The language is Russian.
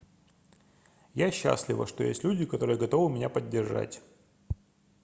я счастлива что есть люди которые готовы меня поддержать